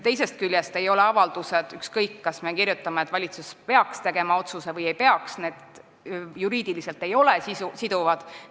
Teisest küljest ei ole avaldused – ükskõik, kas me kirjutame, et valitsus peaks otsuse tegema või ta ei peaks seda tegema – juriidiliselt siduvad.